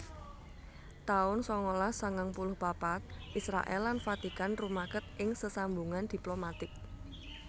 taun sangalas sangang puluh papat Israèl lan Vatikan rumaket ing sesambungan diplomatik